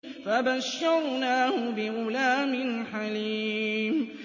فَبَشَّرْنَاهُ بِغُلَامٍ حَلِيمٍ